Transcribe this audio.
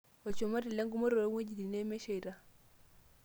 Olchumati lengumoto too ng'wejitin memesheita.